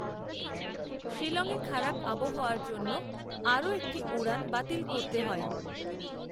শিলংয়ে খারাপ আবহাওয়ার জন্য আরও একটি উড়ান বাতিল করতে হয়